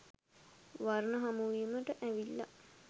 වර්ණ හමුවීමට ඇවිල්ලා